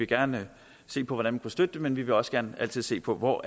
gerne vil se på hvordan vi støtte det men vi vil også gerne altid se på hvor